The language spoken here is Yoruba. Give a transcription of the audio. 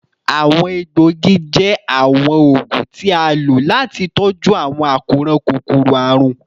Awọn egboogi jẹ awọn oogun ti a lo lati tọju awọn akoran kokoro-arun